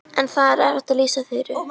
En það er erfitt að lýsa Þuru.